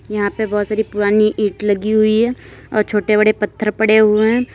यहाँ पे बहुत सारी पुरानी ईंट लगी हुई है और छोटे बड़े पत्थर पड़े हुए हैं।